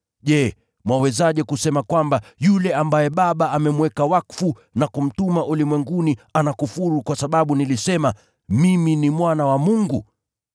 je, mwawezaje kusema kwamba yule ambaye Baba amemweka wakfu na kumtuma ulimwenguni anakufuru, kwa sababu nilisema, ‘Mimi ni Mwana wa Mungu?’